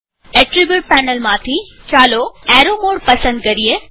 attribute પેનલમાંથી ચાલો arrow mode પસંદ કરીએ